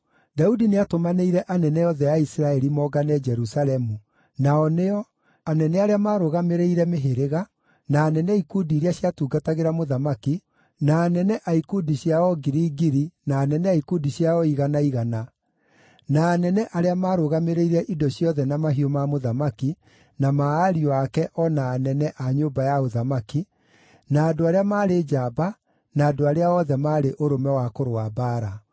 Daudi nĩatũmanĩire anene othe a Isiraeli moongane Jerusalemu, nao nĩo: anene arĩa maarũgamĩrĩire mĩhĩrĩga, na anene a ikundi iria ciatungatagĩra mũthamaki, na anene a ikundi cia o ngiri ngiri na anene a ikundi cia o igana igana, na anene arĩa maarũgamĩrĩire indo ciothe na mahiũ ma mũthamaki na ma ariũ ake o na anene a nyũmba ya ũthamaki, na andũ arĩa maarĩ njamba, na andũ othe arĩa maarĩ ũrũme wa kũrũa mbaara.